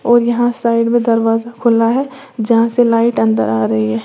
और यहां साइड में दरवाजा खुला है जहां से लाइट अंदर आ रही है।